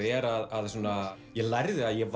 er að ég lærði að ég